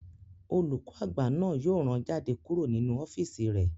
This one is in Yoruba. Olùkọ́ àgbà náà yóò rán jáde kúrò ní ọ́físì rẹ̀